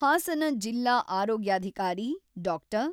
ಹಾಸನ ಜಿಲ್ಲಾ ಆರೋಗ್ಯಾಧಿಕಾರಿ ಡಾಕ್ಟರ್